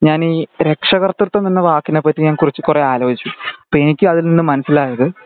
നജ്‌നി രക്ഷകാർത്തിതം എന്ന വാക്കിനേ ഞാൻ പറ്റി കുറച്ചു കുറേ ആലോചിച്ചു അപ്പൊ അതിൽനിന്ന് മനസിലായത്